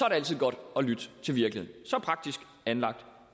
altid godt at lytte til virkeligheden så praktisk anlagt